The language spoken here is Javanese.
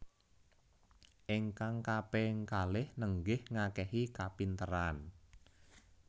Ingkang kaping kalih nenggih ngakehi kapinteran